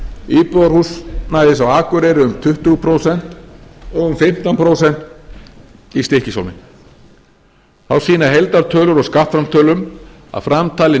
íbúðarhúsnæðis á akureyri um tuttugu prósent og um fimmtán prósent í stykkishólmi þá sýna heildartölur úr skattframtölum að framtalin